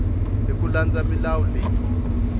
hi ku landza milawu leyi